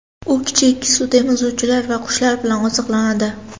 U kichik sutemizuvchilar va qushlar bilan oziqlanadi.